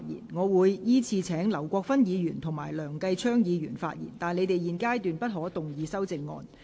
我隨後會依次請劉國勳議員及梁繼昌議員發言；但他們在現階段不可動議修正案。